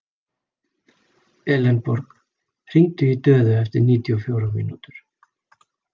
Elenborg, hringdu í Döðu eftir níutíu og fjórar mínútur.